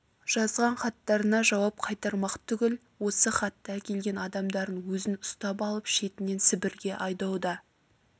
жазған хаттарына жауап қайтармақ түгіл осы хатты әкелген адамдардың өзін ұстап алып шетінен сібірге айдауда